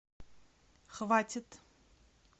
хватит